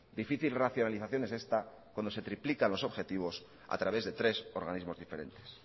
difícil racionalización es esta cuando se triplican los objetivos a través de tres organismos diferentes